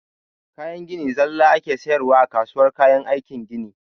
Kayan gini zalla ake sayarwa a kasuwar kayan aikin gini